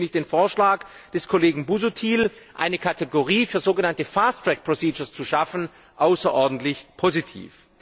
Deswegen finde ich den Vorschlag des Kollegen Busuttil, eine Kategorie für sogenannte fast track procedures zu schaffen, außerordentlich positiv.